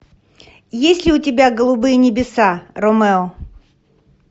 есть ли у тебя голубые небеса ромео